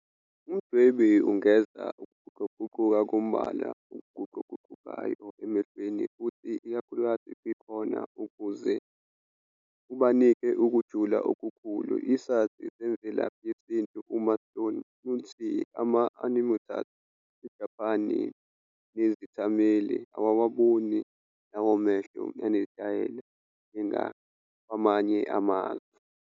Umdwebi ungeza ukuguquguquka kombala okuguquguqukayo emehlweni futhi ikakhulukazi kwi-cornea ukuze ubanikeze ukujula okukhulu. Isazi semvelaphi yesintu uMatt Thorn uthi ama-animators aseJapane nezethameli awawaboni lawo mehlo anezitayela njengakwamanye amazwe.